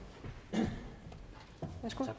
det